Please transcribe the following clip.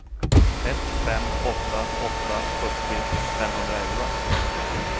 ett fem åtta åtta sjuttio femhundraelva